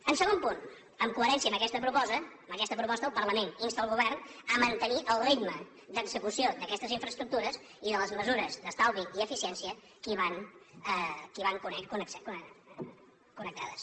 el segon punt en coherència amb aquesta proposta el parlament insta el govern a mantenir el ritme d’execució d’aquestes infraestructures i de les mesures d’estalvi i eficiència que hi van connectades